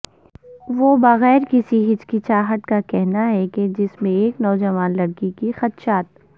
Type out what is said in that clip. وہ بغیر کسی ہچکچاہٹ کا کہنا ہے کہ جس میں ایک نوجوان لڑکی کے خدشات